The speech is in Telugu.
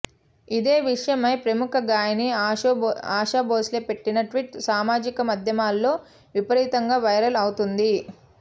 ఇదే విషయమై ప్రముఖ గాయని ఆశా భోంస్లే పెట్టిన ట్వీట్ సామాజిక మాధ్యమాల్లో విపరీతంగా వైరల్ అవుతోంది